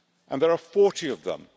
There are 40 of them.